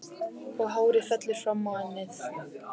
Og hárið fellur fram á ennið.